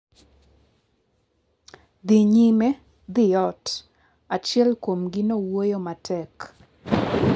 “Dhi nyime, dhi ot,” achiel kuomgi nowuoyo matek.